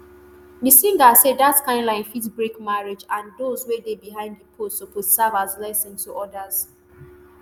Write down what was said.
di singer say dat kain lie fit break marriage and dose wey dey behind di post suppose serve as lesson to odas